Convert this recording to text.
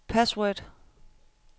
password